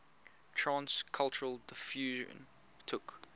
trans cultural diffusion took